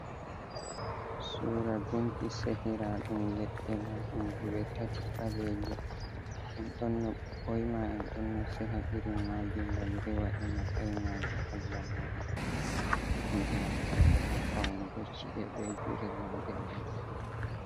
Sura gunki sehiraɗum leɗɗe, marɗum luwe tati ɓaleeje, En don no, ɓoima en ɗon no seha iri maaje ngam rewa e matsayi maaje allah muɗum. En ɗon naftiraɗe ha paunugo ci’e be gure mauɗe-mauɗe.